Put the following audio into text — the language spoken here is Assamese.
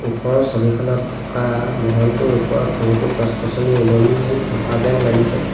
ওপৰৰ ছবিখনত থকা মহলটোৰ ওপৰত বহুতো গছ-গছনি ওলমি থকা যেন লাগিছে।